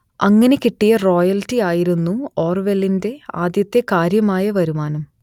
അങ്ങനെ കിട്ടിയ റോയൽറ്റി ആയിരുന്നു ഓർവെലിന്റെ ആദ്യത്തെ കാര്യമായ വരുമാനം